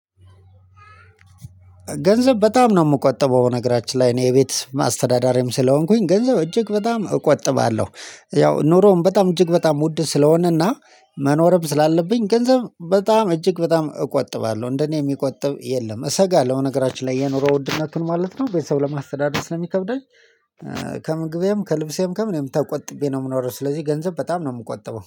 ገንዘብ በጣም ነው የምቆጥበው ነገራችን ላይ እኔ የቤት አስተዳዳሪም ስለሆንኩኝ ገንዘብ እጅግ በጣም እቆጥባለሁ። ያው ኑሮውን በጣም እጅግ በጣም ውድ ስለሆነና መኖርም ስላለብኝ ገንዘብ በጣም እጅግ በጣም እቆጥባለሁ እንደኔ የሚቆጥብ የለም እሰጋለሁ። ነገራችን ላይ የኖረው ውድነት ማለት ነው። ቤተሰብ ለማስተዳደር ስለሚከብደኝ። ከምግቤም ከልብሴም ከምንም ተቆጥቤ ነው የምኖረው። ስለዚህ ገንዘብ በጣም ነው የምቆጥበው